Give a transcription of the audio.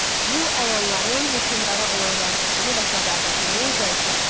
Bu əyanların hökmdara olan rəğbətini və sədaqətini zəiflətdi.